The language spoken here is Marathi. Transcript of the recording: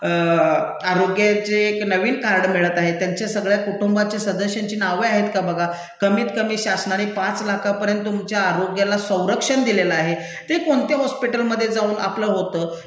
आरोग्याचे एक नवीन कार्ड मिळत आहे, त्यांच्या सगळ्या कुटुंबाच्या सदस्यांची नावे आहेत का बघा? कमीत कमी शासनानी पाच लाखापर्यंत तुमच्या आरोग्याला संरक्षण दिलेलं आहे, ते कोणत्या हॉस्पिटलमधे जाऊन आपलं होत?